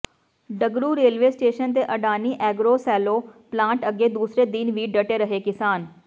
Dagru railway station ਤੇ Adani agro silo plant ਅੱਗੇ ਦੂਸਰੇ ਦਿਨ ਵੀ ਡਟੇ ਰਹੇ ਕਿਸਾਨ